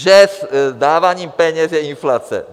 Že dávání peněz je inflace.